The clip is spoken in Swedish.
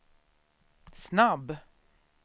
snabb